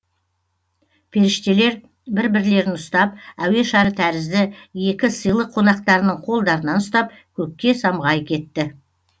періштелер бір бірлерін ұстап әуе шары тәрізді екі сыйлы қонақтарының қолдарынан ұстап көкке самғай кетті